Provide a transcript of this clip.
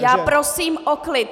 Já prosím o klid!